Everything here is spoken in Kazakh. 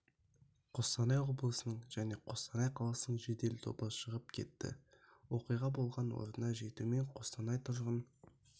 қостанай облысының және қостанай қаласының жедел тобы шығып кетті оқиға болған орнына жетумен қостанай тұрғын